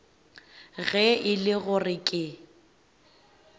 ge e le gore ke